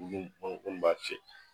b'a feere